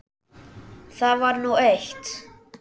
Það var nú eitt.